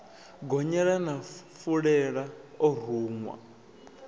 gonyela na fulela o ruṅwa